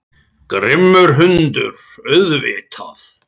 Grimmur hundur, auðvitað.